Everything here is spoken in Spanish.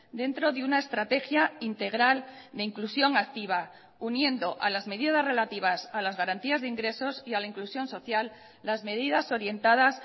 dentro de una estrategia integral de inclusión activa uniendo a las medidas relativas a las garantías de ingresos y a la inclusión social las medidas orientadas